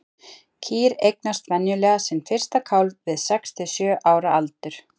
Kýr eignast venjulega sinn fyrsta kálf við sex til sjö ára aldur.